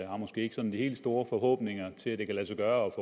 har måske ikke sådan de helt store forhåbninger til at det kan lade sig gøre